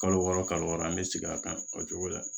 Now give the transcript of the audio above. Kalo wɔɔrɔ kalo wɔɔrɔ an bɛ sigi a kan kɔ cogo la